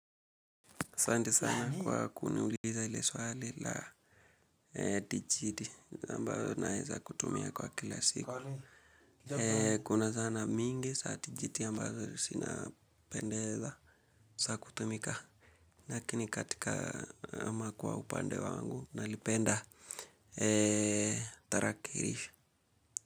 Asanti sana kwa kuniuliza ili swali la tijiti ambazo naeza kutumia kwa kila siku. Kuna zana mingi za tijiti ambazo zina pendeza za kutumika. Lakini katika ama kwa upande wangu nalipenda tarakirisho.